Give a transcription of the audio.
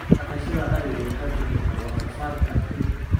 Dhaqashada arigu waxay kordhisaa wax soo saarka hilibka.